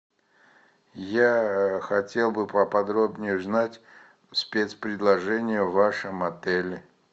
я хотел бы поподробнее узнать спец предложения в вашем отеле